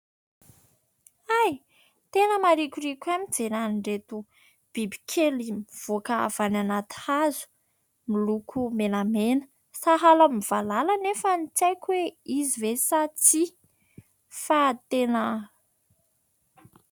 Hay ! Tena marikoriko ahy ny mijery an'ireto bibikely mivoaka avy anaty hazo miloko menamena, sahala amin'ny valala nefa tsy aiko hoe izy ve sa tsia fa tena ...